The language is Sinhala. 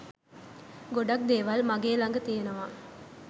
ගොඩක් දේවල් මගේ ළඟ තියෙනවා.